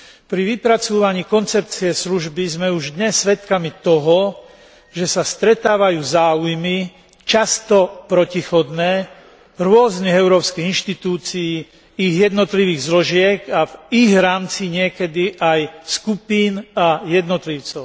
Pri vypracúvaní koncepcie služby sme už dnes svedkami toho, že sa stretávajú záujmy, často protichodné, rôznych európskych inštitúcií, ich jednotlivých zložiek a v ich rámci niekedy aj skupín a jednotlivcov.